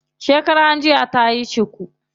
Shekaran jiya tayi cuku.